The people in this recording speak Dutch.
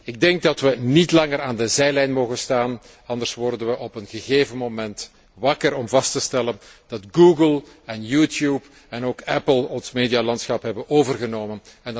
Ik denk dat we niet langer aan de zijlijn mogen blijven staan, anders worden we op een gegeven moment wakker om vast te stellen dat Google en YouTube en ook Apple ons medialandschap hebben overgenomen.